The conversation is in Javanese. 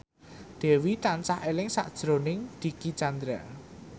Dewi tansah eling sakjroning Dicky Chandra